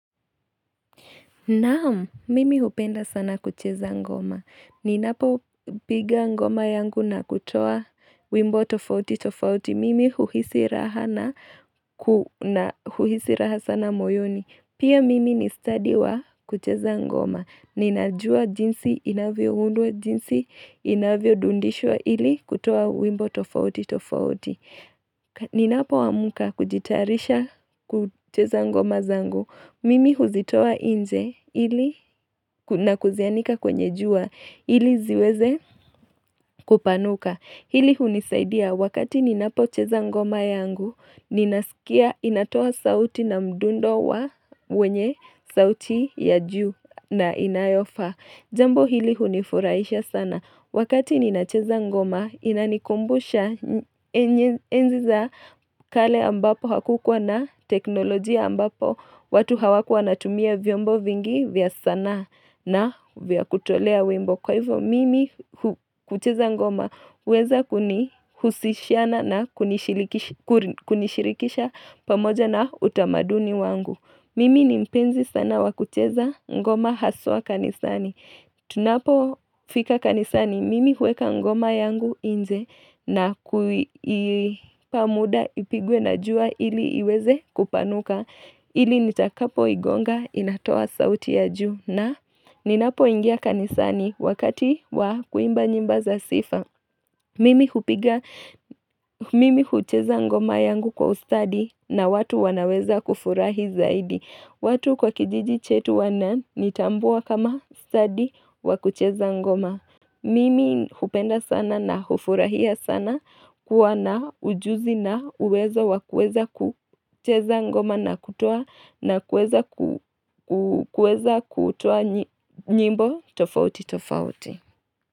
Naam, mimi hupenda sana kucheza ngoma. Ninapo piga ngoma yangu na kutoa wimbo tofauti tofauti. Mimi huhisi raha sana moyoni. Pia mimi ni study wa kucheza ngoma. Ninajua jinsi inavyo undwa jinsi inavyo dundishwa ili kutoa wimbo tofauti tofauti. Ninapo amka kujitayarisha kucheza ngoma zangu. Mimi huzitoa nje ili na kuzianika kwenye jua ili ziweze kupanuka Hili hunisaidia wakati ninapo cheza ngoma yangu Ninasikia inatoa sauti na mdundo wa wenye sauti ya juu na inayofaa Jambo hili hunifuraisha sana Wakati ninacheza ngoma inanikumbusha enzi za kale ambapo hakukua na teknolojia ambapo watu hawakuwa watumia vyombo vingi vya sanaa na vya kutolea wimbo Kwa hivyo mimi hucheza ngoma huweza kuni husishiana na kunishirikisha pamoja na utamaduni wangu Mimi ni mpenzi sana wakucheza ngoma haswa kanisani Tunapo fika kanisani mimi hueka ngoma yangu nje na kuipa muda ipigwe na jua ili iweze kupanuka Ili nitakapo igonga inatoa sauti ya juu na ninapo ingia kanisani wakati wa kuimba nyimbo za sifa Mimi hupiga, mimi hucheza ngoma yangu kwa ustadi na watu wanaweza kufurahi zaidi watu kwa kijiji chetu wana nitambua kama ustadi wakucheza ngoma Mimi hupenda sana na hufurahia sana kuwa na ujuzi na uweza wakueza kucheza ngoma na kutoa na kueza kutoa nyimbo tofauti tofauti.